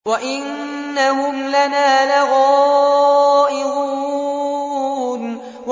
وَإِنَّهُمْ لَنَا لَغَائِظُونَ